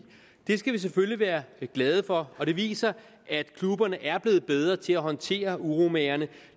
det skal vi selvfølgelig være glade for og det viser at klubberne er blevet bedre til at håndtere uromagerne